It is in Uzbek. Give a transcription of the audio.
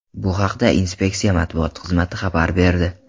Bu haqda inspeksiya matbuot xizmati xabar berdi .